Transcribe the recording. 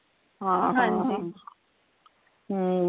ਹਾਂ ਹਾਂ ਹਮ